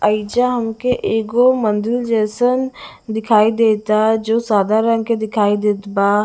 एइजा हमके एगो मदिर जयसान दिखाई देत बा जो सादा रंग के दिखाई देत बा।